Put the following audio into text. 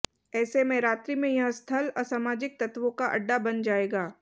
ऐसे में रात्रि में यह स्थल असमाजिक तत्वों का अड्डा बन जाएगा